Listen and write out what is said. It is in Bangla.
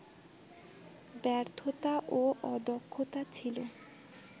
ব্যর্থতা ও অদক্ষতা ছিল